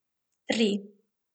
Tri.